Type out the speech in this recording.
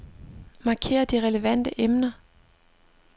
Marker de relevante emner.